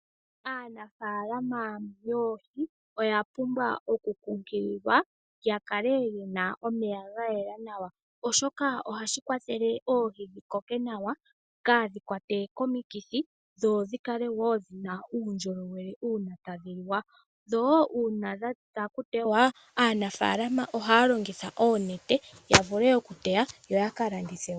Aanafalama yoohi, oya pumbwa oku kunkililwa ya kale yena omeya ga yela nawa. Oshoka ohashi kwathele oohi dhikoke nawa kaadhikwatwe komikithi, dho dhikale wo dhina uundjolowele uuna tadhi liwa. Dho, uuna dha thika okuteywa, aanafalama ohaya longitha oonete yavule okuteya yo ya kalandithe.